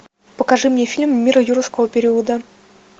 покажи мне фильм мир юрского периода